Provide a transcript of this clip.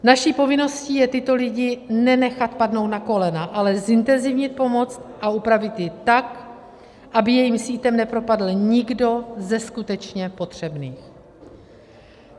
Naší povinností je tyto lidi nenechat padnout na kolena, ale zintenzívnit pomoc a upravit ji tak, aby jejím sítem nepropadl nikdo ze skutečně potřebných.